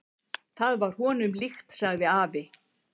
"""Það var honum líkt, sagði afi."""